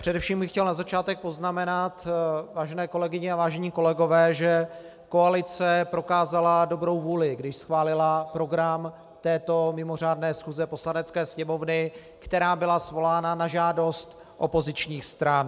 Především bych chtěl na začátek poznamenat, vážené kolegyně a vážení kolegové, že koalice prokázala dobrou vůli, když schválila program této mimořádné schůze Poslanecké sněmovny, která byla svolána na žádost opozičních stran.